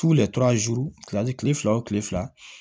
kile fila o kile fila